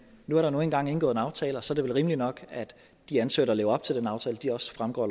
nu er der nu engang indgået en aftale og så er det vel rimeligt nok at de ansøgere der lever op til den aftale også fremgår